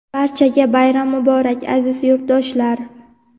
Barchaga bayram muborak, aziz yurtdoshlar!.